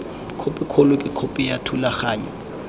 khopikgolo ke khopi ya thulaganyo